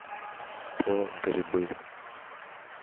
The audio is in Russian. по грибы